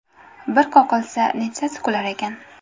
Bir qoqilsa, nechtasi kular ekan?